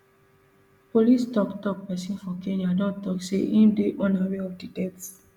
police toktok pesin for kenya don tok say im dey unaware of di death